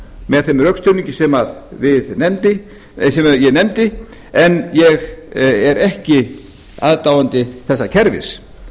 með þeim rökstuðningi sem ég nefndi en ég er ekki aðdáandi þessa kerfis